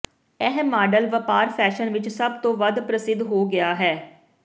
ਇਹ ਮਾਡਲ ਵਪਾਰ ਫੈਸ਼ਨ ਵਿੱਚ ਸਭ ਤੋਂ ਵੱਧ ਪ੍ਰਸਿੱਧ ਹੋ ਗਿਆ ਹੈ